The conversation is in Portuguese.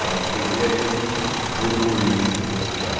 Ela não queria esse burburinho do pessoal.